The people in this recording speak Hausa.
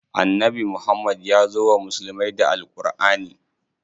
Annabi Muhammad yazo wa musulmai da Al Ƙurʼani.